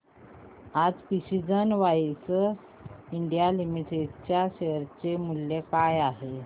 आज precision wires India limited च्या share चे मूल्य काय आहे